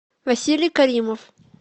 василий каримов